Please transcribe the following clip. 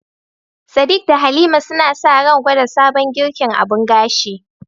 Sadiq da Halima suna sa ran gwada sabon girkin abun gashi